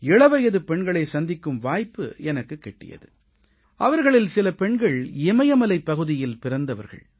இளவயது பெண்களைச் சந்திக்கும் வாய்ப்பு எனக்குக் கிட்டியது அவர்களில் சில பெண்கள் இமயமலைப் பகுதியில் பிறந்தவர்கள்